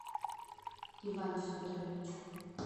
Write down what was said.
иван федорович